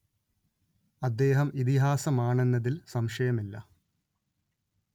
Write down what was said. അദ്ദേഹം ഇതിഹാസമാണെന്നതിൽ സംശയമേയില്ല